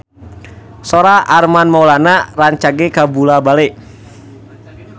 Sora Armand Maulana rancage kabula-bale